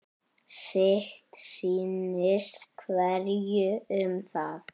Sitt sýnist hverjum um það.